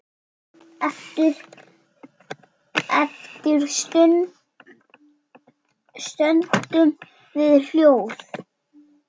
Eftir stöndum við hljóð.